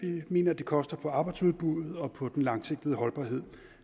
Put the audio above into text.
vi mener at det koster på arbejdsudbuddet og på den langsigtede holdbarhed